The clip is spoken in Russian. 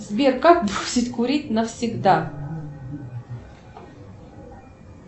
сбер как бросить курить навсегда